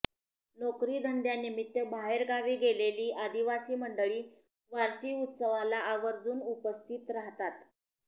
नोकरीधंद्यानिमित्त बाहेरगावी गेलेली आदिवासी मंडळी वारसी उत्सवाला आवर्जून उपस्थित राहतात